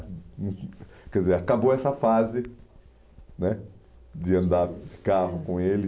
hum, Quer dizer, acabou essa fase né de andar de carro com ele.